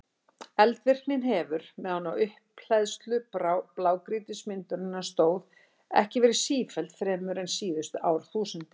Eldvirknin hefur, meðan á upphleðslu blágrýtismyndunarinnar stóð, ekki verið sífelld fremur en síðustu árþúsundin.